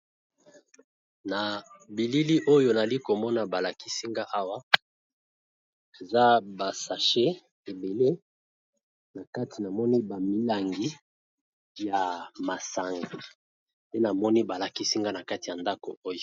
Na bilili oyo nali komona balakisinga awa eza ba sashe ebele na kati , namoni ba milangi ya masanga pe namoni balakisinga na kati ya ndako oyo.